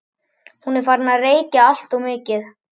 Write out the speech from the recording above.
Hún er farin að reykja alltof mikið.